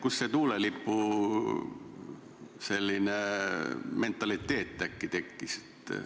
Kust see tuulelipumentaliteet äkki tekkis?